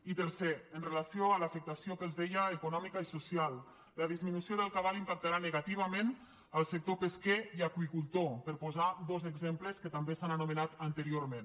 i tercer amb relació a l’afectació que els deia econòmica i social la disminució del cabal impactarà negativament al sector pesquer i aqüicultor per posar dos exemples que també s’han anomenat anteriorment